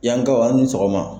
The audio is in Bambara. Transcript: Yankaw aw ni sɔgɔma.